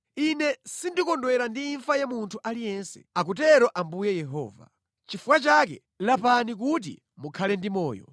Ine sindikondwera ndi imfa ya munthu aliyense, akutero Ambuye Yehova. Chifukwa chake, lapani kuti mukhale ndi moyo.”